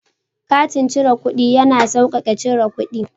Katin cire kuɗi ya na sauƙaƙe cire kuɗi.